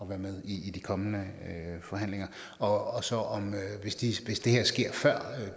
være med i de kommende forhandlinger og hvis det sker før